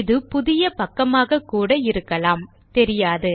இது புதிய பக்கமாகக்கூட இருக்கலாம் தெரியாது